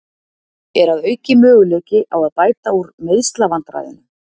Er að auki möguleiki á að bæta úr meiðslavandræðunum?